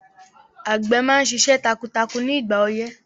Àgbẹ̀ máa ṣiṣẹ́ takuntakun ní ìgbà ọyẹ́